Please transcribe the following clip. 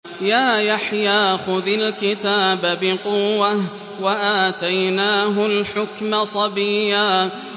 يَا يَحْيَىٰ خُذِ الْكِتَابَ بِقُوَّةٍ ۖ وَآتَيْنَاهُ الْحُكْمَ صَبِيًّا